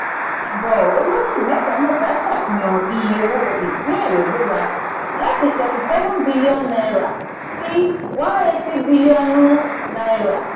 àbò olóṣù mẹta-mẹta ṣàfihàn iye owó ìpín èrè gbéra láti thirty seven billion naira sí one eighty bílíọ̀nù naira.